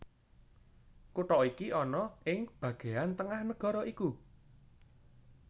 Kutha iki ana ing bagéan tengah nagara iku